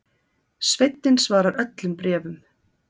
Sveinninn svarar öllum bréfum